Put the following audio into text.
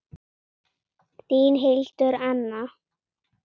Þín, Hildur Anna.